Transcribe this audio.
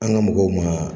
An ka mɔgɔw ma